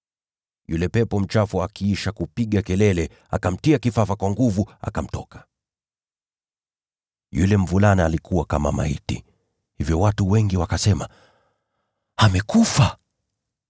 Yule pepo mchafu akiisha kupiga kelele, akamtia kifafa kwa nguvu, na akamtoka. Yule mvulana alikuwa kama maiti, hivyo watu wengi wakasema, “Amekufa.”